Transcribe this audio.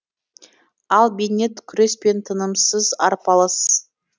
ал бейнет күрес пен тынымсыз арпалыс